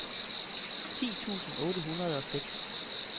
ti tusind otte hundrede og seks